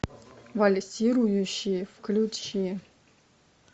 вальсирующие включи